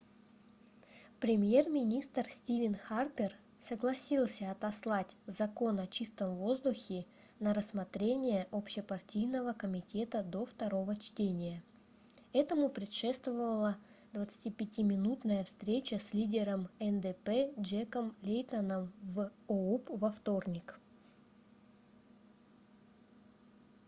премьер-министр стивен харпер согласился отослать закон о чистом воздухе на рассмотрение общепартийного комитета до второго чтения этому предшествовала 25-минутная встреча с лидером ндп джеком лейтоном в оуп во вторник